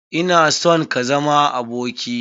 Ina son ka zama aboki na.